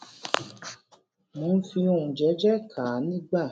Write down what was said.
mò ń fi ohùn jééjéé kà á nígbà